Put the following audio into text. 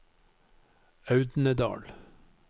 Audnedal